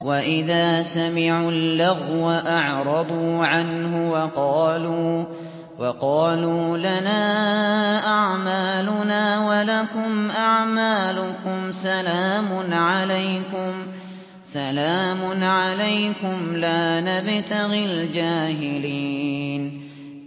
وَإِذَا سَمِعُوا اللَّغْوَ أَعْرَضُوا عَنْهُ وَقَالُوا لَنَا أَعْمَالُنَا وَلَكُمْ أَعْمَالُكُمْ سَلَامٌ عَلَيْكُمْ لَا نَبْتَغِي الْجَاهِلِينَ